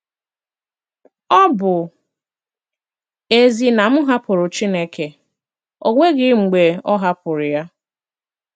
Ọ bụ́ ezie na m hàpụ̀rụ̀ Chineke, ọ nweghị̀ mgbe ọ hàpụ̀rụ̀ ya.